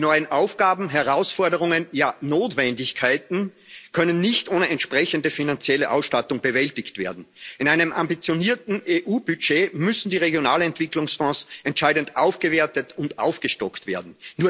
Die neuen Aufgaben und Herausforderungen, ja Notwendigkeiten können nicht ohne entsprechende finanzielle Ausstattung bewältigt werden. In einem ambitionierten EU Budget müssen die Regionalentwicklungsfonds entscheidend aufgewertet und aufgestockt werden.